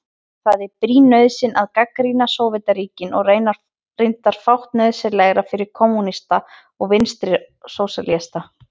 Það er brýn nauðsyn að gagnrýna Sovétríkin og reyndar fátt nauðsynlegra fyrir kommúnista og vinstrisósíalista.